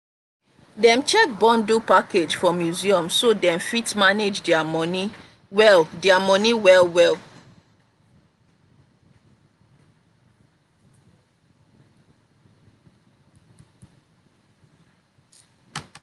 dem check bundle package for museum so dem fit manage their money well their money well well.